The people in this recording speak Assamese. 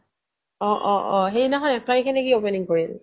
অ' অ' অ' সেইদিনাখন এক তাৰিখে নে কি opening কৰিল